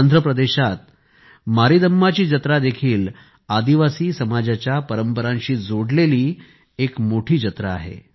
आंध्रप्रदेशात मारीदम्मा ची जत्रा देखील आदिवासी समाजाच्या परंपरांशी जोडलेली एक मोठी जत्रा आहे